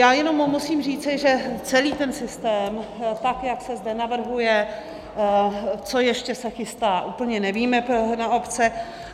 Já jenom musím říci, že celý ten systém, tak jak to zde navrhuje, co ještě se chystá, úplně nevíme, na obce.